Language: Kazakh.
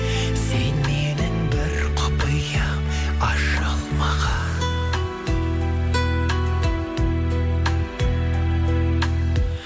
сен менің бір құпиям ашылмаған